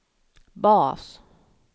bas